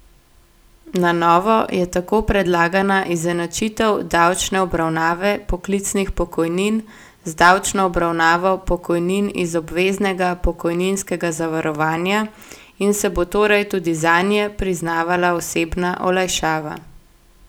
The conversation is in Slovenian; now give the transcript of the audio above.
Na novo je tako predlagana izenačitev davčne obravnave poklicnih pokojnin z davčno obravnavo pokojnin iz obveznega pokojninskega zavarovanja in se bo torej tudi zanje priznavala osebna olajšava.